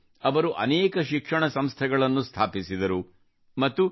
ಅವರು ಅನೇಕ ಶಿಕ್ಷಣ ಸಂಸ್ಥೆಗಳನ್ನು ಸ್ಥಾಪಿಸಿದರು ಮತ್ತು ಡಾ